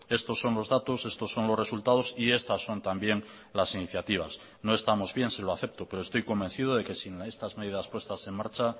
estos son los datos estos son los resultados y estas son también las iniciativas no estamos bien se lo acepto pero estoy convencido de que sin estas medidas puestas en marcha